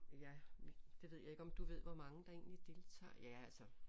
Ja det ved jeg ikke om du ved hvor mange der egentlig deltager ja altså